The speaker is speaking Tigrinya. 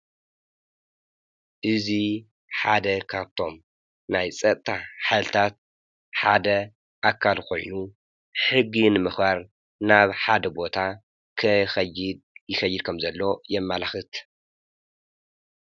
እዚ ሓደ ካብቶም ናይ ፀጥታ ሓይልታት ሓደ ኣካል ኮይኑ፤ ሕጊ ንምኽባር ናብ ሓደ ቦታ ክኸይድ ይኸይድ ከም ዘሎ የማላኽት።